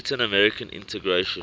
latin american integration